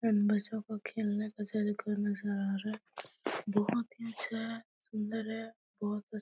नजर आ रहा है। बहोत ही अच्छा है सुंदर है बहोत कुछ --